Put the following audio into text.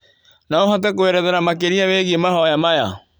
No ũhote kũerethera makĩria wĩgie mahoya maya?